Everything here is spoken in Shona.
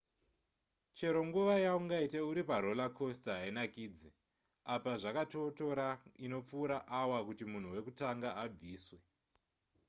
chero nguva yaungaite uri paroller coaster hainakidze apa zvakatotora inopfuura awa kuti munhu wekutanga abviswe